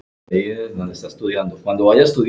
Ég sé til þess.